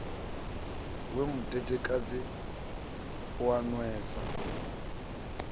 wa mudedekadzi u a nwesa